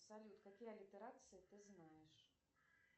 салют какие аллитерации ты знаешь